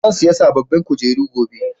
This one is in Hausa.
zan sayi sabobbin kujeru gobe